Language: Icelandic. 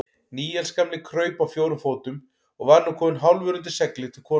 Níels gamli kraup á fjórum fótum og var nú kominn hálfur undir seglið til konunnar.